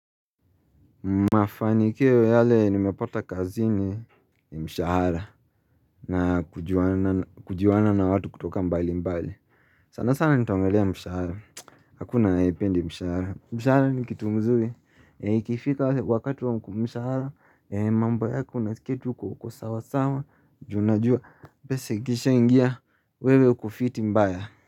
Mafanikio yale nimepata kazi ni ni mshahara na kujuana na watu kutoka mbali mbali sana sana nitaongelea mshahara Hakuna ayehipendi mshahara mshahara ni kitu mzuri ikifika wakati wa mshahara mambo yako unaskia tu uko sawa sawa junajua pesa ikisha ingia wewe uko fiti mbaya.